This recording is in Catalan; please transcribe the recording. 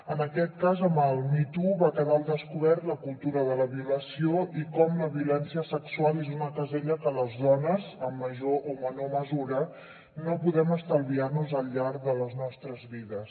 en aquest cas amb el me too va quedar al descobert la cultura de la violació i com la violència sexual és una casella que les dones en major o menor mesura no podem estalviar nos al llarg de les nostres vides